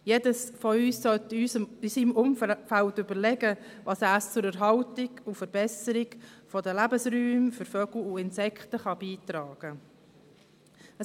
Jeder von uns sollte in seinem Umfeld überlegen, was er zur Erhaltung und Verbesserung der Lebensräume für Vögel und Insekten beitragen kann.